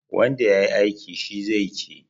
Wanda ya yi aiki, shi zai ci.